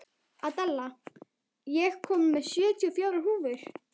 Adela, ég kom með sjötíu og fjórar húfur!